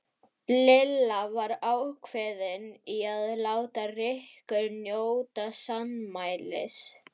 Lilla var ákveðin í að láta Rikku njóta sannmælis.